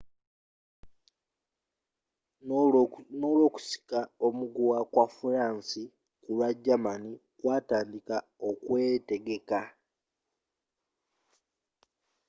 ne okusika omuguwa kwa furansi kulwa germani kwatandiika okwetegeka